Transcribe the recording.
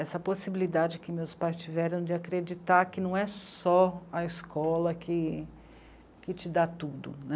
Essa possibilidade que meus pais tiveram de acreditar que não é só a escola que, que te dá tudo né.